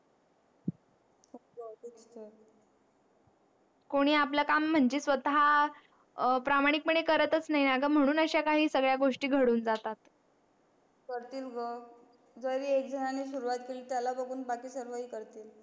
कोणी आपलं काम म्हणजे स्वतः प्रामाणिकपणे करतच नाही म्हणून अशा सांगड्या घडून जातात करतील ग जरी एकजनाने सुरवात केली त्यालाच आपण बाकी सर्व हे करतो